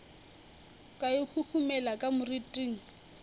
ka e huhumela ka moriting